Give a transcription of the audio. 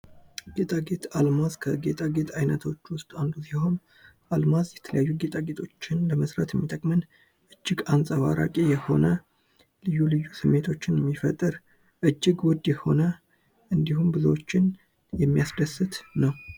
ጌጣጌጥ፦ አልማዝ ከጌጣጌጥ አይነቶች ውስጥ አንዱ ሲሆን አልማዝ የተለያዩ ጌጣጌጦችን ለመስራት የሚጠቅመን እጅግ አንጸባራቂ የሆነ ልዩ ልዩ ስሜቶችን የሚፈጥር እጅግ ውድ የሆነ እንድሁም ብዙዎችን የሚያስደስት ነው።